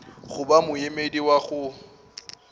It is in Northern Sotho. go ba moemedi wa go